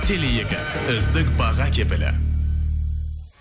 теле екі үздік баға кепілі